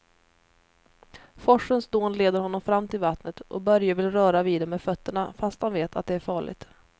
Forsens dån leder honom fram till vattnet och Börje vill röra vid det med fötterna, fast han vet att det är farligt.